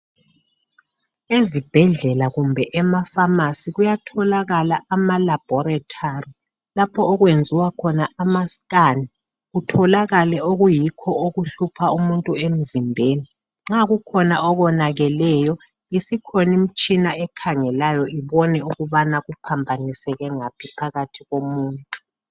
Ezibhedlela kumbe emafamasi kuyatholakala ama labhorithali lapho okwenziwa khona amascan. Kutholakale okuyikho okuhlupha umuntu emzimbeni nxa kukhona okonakeleyo isikhona imtshina ekhangelayo ubone ukubana kuphambaniseke ngaphi phakathi komuntu.